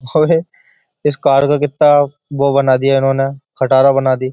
अबे इस कार का कितना वो बना दिया इन्होंने कटारा बना दी।